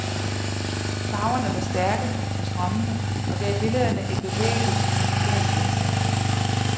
Farverne var stærke og strømmende og gav billederne et bevægeligt, musikalsk indslag.